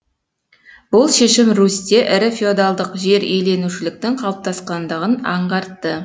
бұл шешім русьте ірі феодалдық жер иеленушіліктің қалыптасқандығын аңғартты